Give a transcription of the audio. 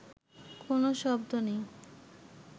কোনো শব্দ নেই